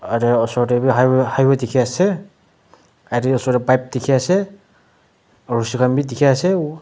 are osor te bi high highway dekhi ase aro osor te pipe dekhi ase rosi khan bi dekhi ase.